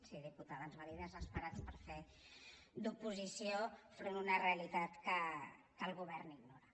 sí diputada ens va dir desesperats per fer d’oposició enfront d’una realitat que el govern ignora